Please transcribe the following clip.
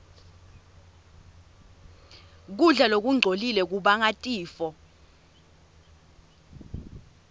kudla lokungcolile kubanga tifo